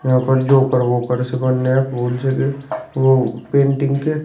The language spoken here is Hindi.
यहां पर जोकर वोकर सुगन्या वो पेंटिंग के--